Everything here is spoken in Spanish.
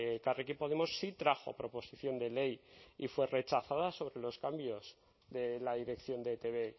elkarrekin podemos sí trajo proposición de ley y fue rechazada sobre los cambios de la dirección de etb